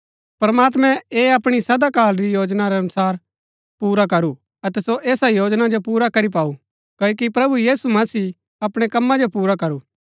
प्रमात्मैं ऐह अपणी सदा काल री योजना रै अनुसार रै पुरा करू अतै सो ऐसा योजना जो पुरा करी पाऊ क्ओकि प्रभु यीशु मसीह अपणै कम्मा जो पुरा करू